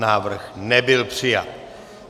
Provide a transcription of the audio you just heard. Návrh nebyl přijat.